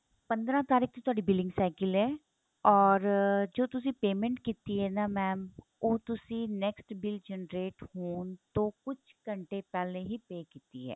ਪੰਦਰਾਂ ਤਾਰੀਕ ਤੋਂ ਤੁਹਾਡੀ billing cycle ਏ or ਜੋ ਤੁਸੀਂ payment ਕੀਤੀ ਏ ਨਾ mam ਉਹ ਤੁਸੀਂ next bill generate ਹੋਣ ਤੋਂ ਕੁੱਝ ਘੰਟੇ ਪਹਿਲੇ ਹੀ pay ਕੀਤੀ ਏ